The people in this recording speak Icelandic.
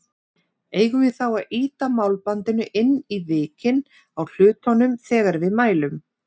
Eigum við þá að ýta málbandinu inn í vikin á hlutnum þegar við mælum?